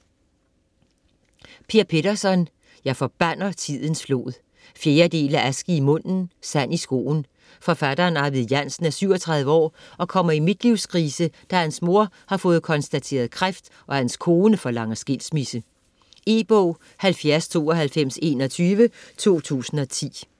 Petterson, Per: Jeg forbander tidens flod 4. del af Aske i munden, sand i skoen. Forfatteren Arvid Jansen er 37 år og kommer i midtlivskrise, da hans mor har fået konstateret kræft og hans kone forlanger skilsmisse. E-bog 709221 2010.